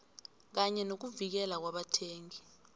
kanye nokuvikeleka kwabathengi